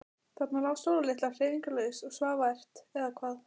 Þarna lá Sóla litla hreyfingarlaus og svaf vært. eða hvað?